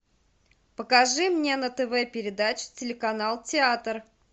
покажи мне на тв передачу телеканал театр